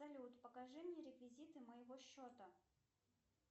салют покажи мне реквизиты моего счета